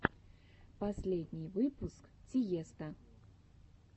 последний выпуск тиесто